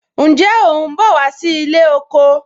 Ǹjẹ́ o ń bọ̀ wá sí ilé oko